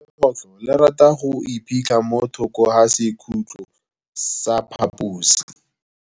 Legôtlô le rata go iphitlha mo thokô ga sekhutlo sa phaposi.